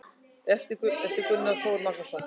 eftir gunnar þór magnússon